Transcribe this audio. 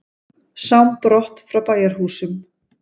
Sám brott frá bæjarhúsum.